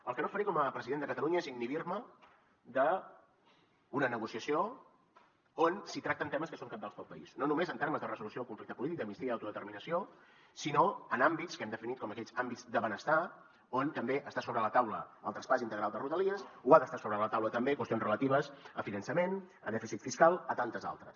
el que no faré com a president de catalunya és inhibir me d’una negociació on es tracten temes que són cabdals per al país no només en termes de resolució del conflicte polític d’amnistia i autodeterminació sinó en àmbits que hem definit com aquells àmbits de benestar on també està sobre la taula el traspàs integral de rodalies o han d’estar sobre la taula també qüestions relatives a finançament a dèficit fiscal a tantes altres